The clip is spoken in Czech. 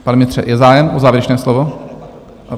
Pane ministře, je zájem o závěrečné slovo?